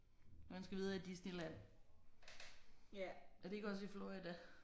Og han skal videre i Disneyland. Er det ikke også i Florida?